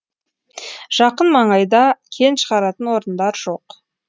жақын маңайда кен шығаратын орындар жоқ